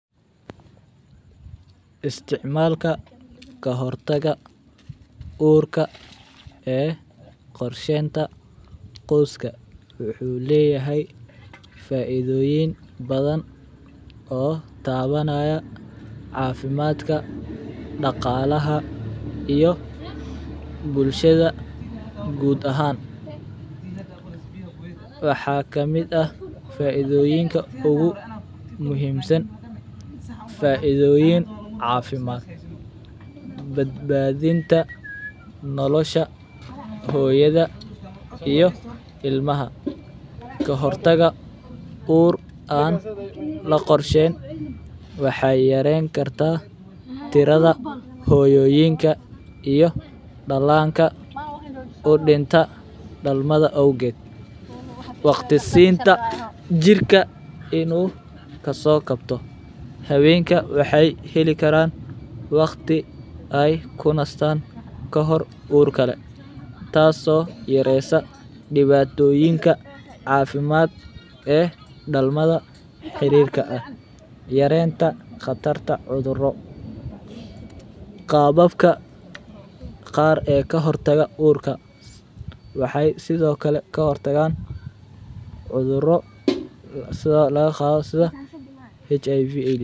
Isticmalka kahortaga uurka ee corshenta cooska waxu leeyahay faaithoyiin bathan oo tawanaya cafimadka daqalaha iyo bulshada guud ahan .Waxa kamiidah faaitho iinka ugu muhimsan faaitho iin cafimaad babadinta nolosha hooyada iyo iilmaha kahortaga uur aan laqoorshein waxay yarein karta tirada hooyoyinka iiyo dalanka udinta dalmada auged waqti siinta jiirka inu kaso kabto haweinka waxayka helikaran waqti ay kunastan kahor uurkale taaso yaresa diwatooyika caafimaad ee dalmada xirirka yarenta qatarta cuthuro .Qababka qaar ee kahotaga uurka waxay sidokale kahortagan cuthuro lasalaqasa HIV AIDS.